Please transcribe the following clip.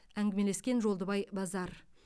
әңгімелескен жолдыбай базар